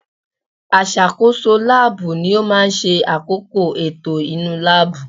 Aṣàkóso láàbù ni ó máa ń ṣe àkóko ètò inú láàbù